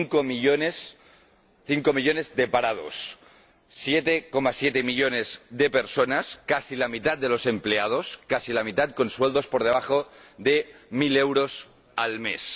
Cinco millones de parados y 7,7 millones de personas —casi la mitad de los empleados, casi la mitad— con sueldos por debajo de mil euros al mes.